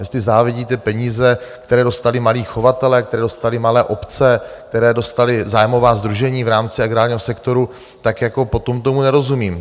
Jestli závidíte peníze, které dostali malí chovatelé, které dostaly malé obce, které dostala zájmová sdružení v rámci agrárního sektoru, tak jako potom tomu nerozumím.